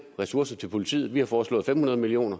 ressourcer til politiet vi har foreslået fem hundrede million